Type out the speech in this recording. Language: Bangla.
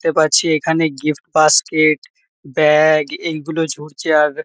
দেখতে পাচ্ছি এখানে গিফট বাস্কেট ব্যাগ এই গুলো ঝুলছে। আর--